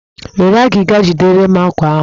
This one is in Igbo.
Were agịga jidere m àkwá ahụ!